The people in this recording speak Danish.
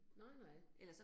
Nej nej